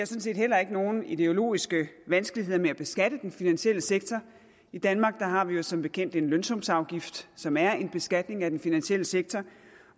set heller ikke nogen ideologiske vanskeligheder med at beskatte den finansielle sektor i danmark har vi jo som bekendt en lønsumsafgift som er en beskatning af den finansielle sektor